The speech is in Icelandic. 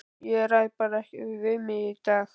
Ég ræð bara ekki við mig í dag.